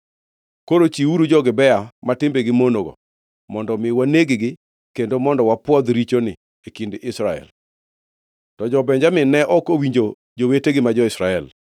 Koro chiwuru jo-Gibea ma timbegi monogo mondo mi waneg-gi kendo mondo wapwodh richoni e kind Israel.” To jo-Benjamin ne ok owinjo jowetegi ma jo-Israel.